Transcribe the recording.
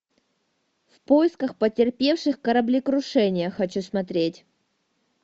в поисках потерпевших кораблекрушение хочу смотреть